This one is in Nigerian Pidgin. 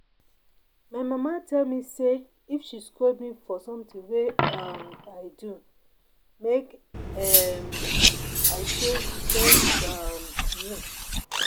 My mama tell me say if she scold me for something wey um I do make um I say thank um you